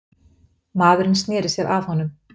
Maðurinn sneri sér að honum.